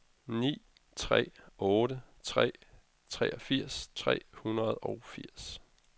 ni tre otte tre treogfirs tre hundrede og firs